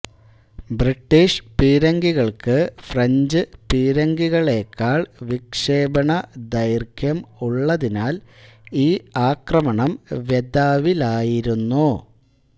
British പീരങ്കികൾക്ക് French പീരങ്കികളെക്കാൾ വിക്ഷേപണ ദൈർഘ്യം ഉള്ളതിനാൽ ഈ ആക്രമണം വ്യഥാവിലായിരുന്നു